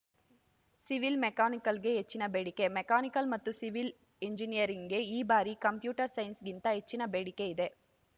civil ಮೆಕ್ಯಾನಿಕಲ್‌ಗೆ ಹೆಚ್ಚಿನ ಬೇಡಿಕೆ ಮೆಕ್ಯಾನಿಕಲ್‌ ಮತ್ತು ಸಿವಿಲ್‌ ಎಂಜಿನಿಯರಿಂಗ್‌ಗೆ ಈ ಬಾರಿ ಕಂಪ್ಯೂಟರ್‌ ಸೈನ್ಸ್‌ಗಿಂತ ಹೆಚ್ಚಿನ ಬೇಡಿಕೆ ಇದೆ